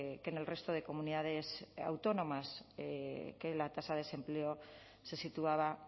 que en el resto de comunidades autónomas que la tasa de desempleo se situaba